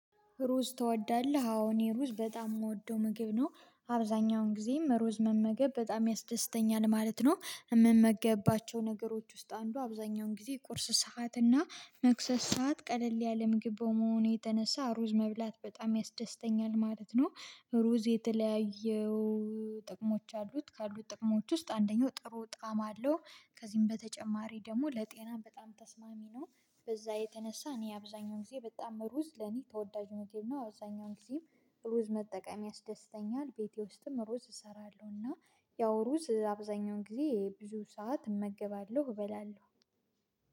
ሩዝ ትወዳለህ? አዎ እኔ ሩዝ በጣም የምወደው ምግብ ነው አብዛኛውን ጊዜም ሩዝ መመገብ በጣም ያስደስተኛል ማለት ነው። የምመገባቸው ነገሮች ውስጥ አንዱ አብዛኛውን ጊዜ ቁርስ ሰዓት እና መክሰስ ሰዓት ቀለል ያለ ምግብ በመሆኑ የተነሳ ሩዝ መብላት በጣም ያስደስተኛል ማለት ነው። ሩዝ የተለያየው ጥቅሞች አሉት ካሉት ጥቅሞች ውስጥ አንደኛው ጥሩ ጣዕም አለው። ከዚህም በተጨማሪ ደግሞ ለጤና ተስማሚ ነው። በዛ የተነሳ እኔ አብዛኛውን ጊዜ በጣም ሩዝ ለኔ ተወዳጅ ነው ምግብ ነው አብዛኛውን ጊዜም። ሩዝ መጠቀም ያስደስተኛል ቤቴ ውስጥም ሩዝ እሰራለሁና። ያው ሩዝ አብዛኛውን ጊዜ ብዙ ሰዓት እመገባለሁ እበላለሁ።